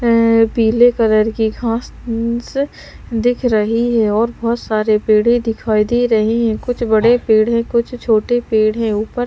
एं--पीले colour की घास-स दिख रही है और बहुत सारे पेड़े दिखाई दे रहे हैं कुछ बड़े पेड़ हैं कुछ छोटे पेड़ हैं ऊपर--